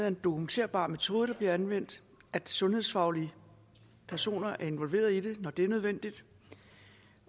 en dokumenterbar metode der bliver anvendt at sundhedsfaglige personer er involveret i det når det er nødvendigt